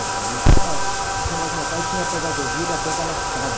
O meu pai, ah, eu chamava que o meu pai tinha a pedagogia da pedra lascada.